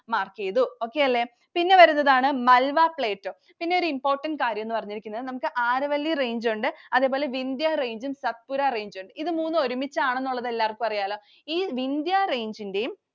mark ചെയ്തു. Okay അല്ലെ. പിന്നെ വരുന്നതാണ് Malwa Plateau. പിന്നെ ഒരു important കാര്യമെന്ന് പറഞ്ഞിരിക്കുന്നത് നമുക്ക് Aravalli Range ഉണ്ട്. അതുപോലെ Vindya Range ഉം Satpura Range ഉം ഉണ്ട്. ഇത് മൂന്നും ഒരുമിച്ചാണ് എന്ന് ഉള്ളത് എല്ലാര്ക്കും അറിയാലോ. ഈ Vindya Range ൻറെയും